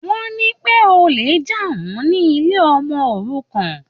Wọ́n ní pé olè jà wọ́n ní ilé ọmọ-òrukàn.